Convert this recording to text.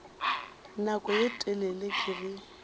nako ye telele ke ge